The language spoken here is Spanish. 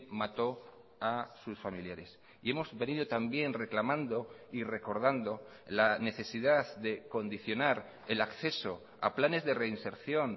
mató a sus familiares y hemos venido también reclamando y recordando la necesidad de condicionar el acceso a planes de reinserción